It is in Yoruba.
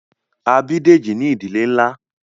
A bí Dèjì ní ìdílé nlá